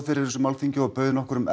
fyrir þessu málþingi og bauð nokkrum